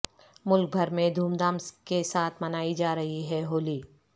ملک بھر میں دھوم دھام کے ساتھ منائی جا رہی ہے ہولی